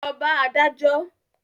Lọ bá adájọ́!